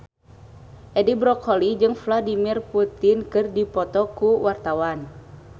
Edi Brokoli jeung Vladimir Putin keur dipoto ku wartawan